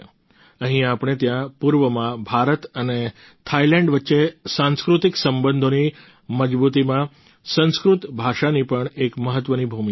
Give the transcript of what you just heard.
અહીં આપણે ત્યાં પૂર્વમાં ભારત અને થાઈલેન્ડ વચ્ચે સાંસ્કૃતિક સંબંધોની મજબૂતીમાં સંસ્કૃત ભાષાની પણ એક મહત્વની ભૂમિકા છે